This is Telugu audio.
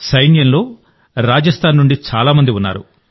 సైన్యంలో రాజస్థాన్ నుండి చాలా మంది ఉన్నారు